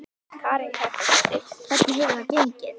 Karen Kjartansdóttir: Hvernig hefur það gengið?